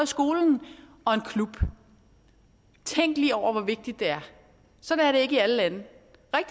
skolen og en klub tænk lige over hvor vigtigt det er sådan er det ikke i alle lande